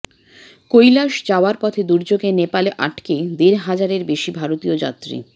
কৈলাস যাওয়ার পথে দুর্যোগে নেপালে আটকে দেড় হাজারের বেশি ভারতীয় যাত্রী